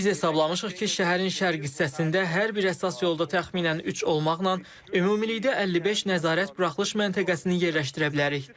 Biz hesablamışıq ki, şəhərin şərq hissəsində hər bir əsas yolda təxminən üç olmaqla ümumilikdə 55 nəzarət buraxılış məntəqəsini yerləşdirə bilərik.